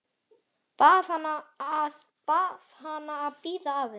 Bað hana að bíða aðeins.